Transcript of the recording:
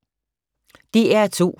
DR2